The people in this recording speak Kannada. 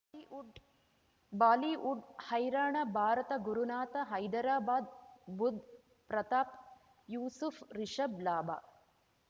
ಲಿವುಡ್ ಬಾಲಿವುಡ್ ಹೈರಾಣ ಭಾರತ ಗುರುನಾಥ ಹೈದರಾಬಾದ್ ಬುಧ್ ಪ್ರತಾಪ್ ಯೂಸುಫ್ ರಿಷಬ್ ಲಾಭ